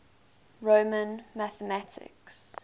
roman mathematics